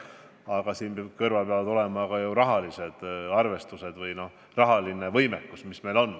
Aga siin kõrval peavad olema ka rahalised arvestused, rahaline võimekus.